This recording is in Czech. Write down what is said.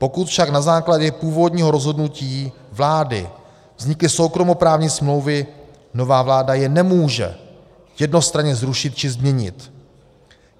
Pokud však na základě původního rozhodnutí vlády vznikly soukromoprávní smlouvy, nová vláda je nemůže jednostranně zrušit či změnit.